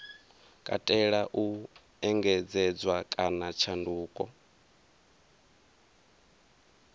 katela u engedzedzwa kana tshanduko